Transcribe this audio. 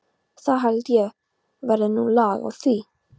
Það held ég verði nú lag á því.